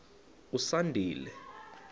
usandile